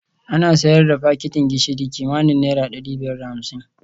Ana sayar da fakitin gishiri kimanin naira dari biyar da hamsin